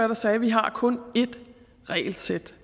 der sagde at vi har kun ét regelsæt